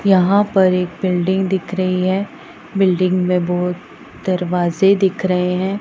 यहां पर एक बिल्डिंग दिख रही है बिल्डिंग में बहोत दरवाजे दिख रहे हैं।